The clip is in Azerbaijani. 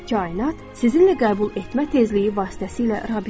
Kainat sizinlə qəbul etmə tezliyi vasitəsilə rabitədir.